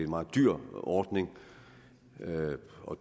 meget dyr ordning